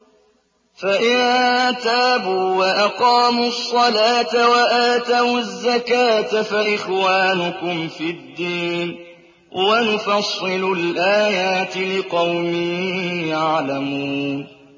فَإِن تَابُوا وَأَقَامُوا الصَّلَاةَ وَآتَوُا الزَّكَاةَ فَإِخْوَانُكُمْ فِي الدِّينِ ۗ وَنُفَصِّلُ الْآيَاتِ لِقَوْمٍ يَعْلَمُونَ